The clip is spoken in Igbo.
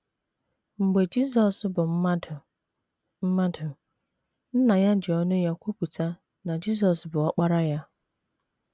Mgbe Jizọs bụ mmadụ, mmadụ, Nna ya ji ọnụ ya kwupụta na Jizọs bụ Ọkpara Ya.